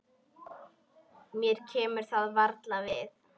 Mér kemur það varla við.